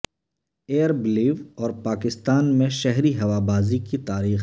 year Blue اور پاکستان میں شہری ہوابازی کی تاریخ